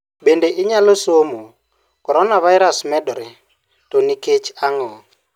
Bende inyalo somo: Coronavirus medore, to nikech ang'o?